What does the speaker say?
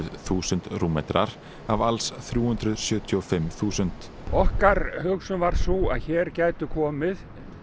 þúsund rúmmetrar af alls þrjú hundruð sjötíu og fimm þúsund okkar hugsun var sú að hér gætu komið